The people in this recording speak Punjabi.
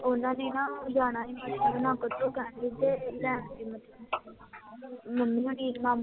ਓਹਨਾ ਨੇ ਨਾ ਜਾਣਾ ਸੀ ਹਿਮਾਚਲ, ਓਹਨਾ ਨੇ ਕੈਬ ਕੀਤੀ, ਤੇ ਲੈਣ ਗਏ ਮਤਲਬ, ਮੰਮੀ ਹੋਣੀ ਮਾਮੂ